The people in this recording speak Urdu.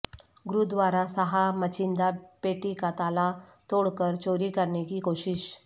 گردوارہ صاحب میںچندہ پیٹی کا تالا توڑ کر چوری کرنے کی کوشش